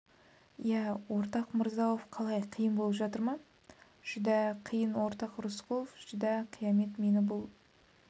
иә ортақ мирза-ауф қалай қиын болып жатыр ма жүдә қиын ортақ рысқұлов жүдә хиямет мені бұл